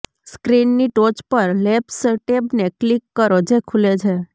સ્ક્રીનની ટોચ પર લેબ્સ ટેબને ક્લિક કરો જે ખુલે છે